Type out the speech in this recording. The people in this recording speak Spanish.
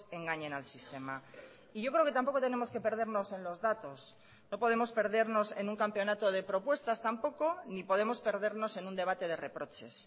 engañen al sistema y yo creo que tampoco tenemos que perdernos en los datos no podemos perdernos en un campeonato de propuestas tampoco ni podemos perdernos en un debate de reproches